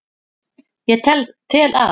Ég tel að